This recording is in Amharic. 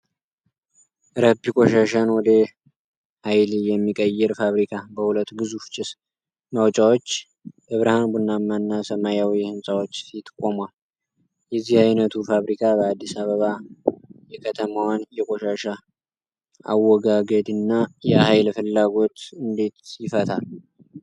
ረፒ ቆሻሻን ወደ ኃይል የሚቀይር ፋብሪካ በሁለት ግዙፍ ጭስ ማውጫዎች፣ በብርሃን ቡናማ እና ሰማያዊ ሕንፃዎች ፊት ቆሟል። የዚህ ዓይነቱ ፋብሪካ በአዲስ አበባ የከተማዋን የቆሻሻ አወጋገድና የኃይል ፍላጎት እንዴት ይፈታል?